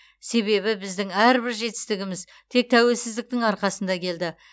себебі біздің әрбір жетістігіміз тек тәуелсіздіктің арқасында келді